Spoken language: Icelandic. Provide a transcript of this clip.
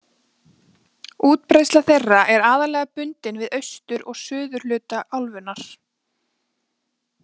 Útbreiðsla þeirra er aðallega bundin við austur- og suðurhluta álfunnar.